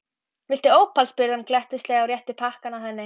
Viltu ópal? spurði hann glettnislega og rétti pakkann að henni.